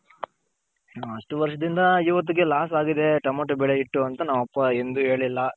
ಅಷ್ಟ್ ವರ್ಷದಿಂದ ಇವತ್ತಿಗೆ loss ಆಗಿದೆ ಟಮ್ಯಾಟು ಬೆಲೆ ಇಟ್ಟು ಅಂತ ನಮ್ಮಪ್ಪ ಎಂದು ಹೇಳಿಲ್ಲ.